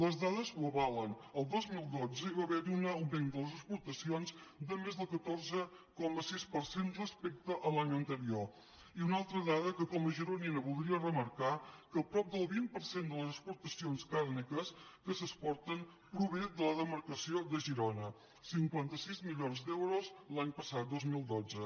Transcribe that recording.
les dades ho avalen el dos mil dotze hi va haver un augment de les ex·portacions de més del catorze coma sis per cent respecte a l’any anterior i una altra dada que com a gironina voldria remarcar que prop de vint per cent de les exportacions càrniques que s’exporten prové de la demarcació de girona cinquanta sis milions d’euros l’any passat dos mil dotze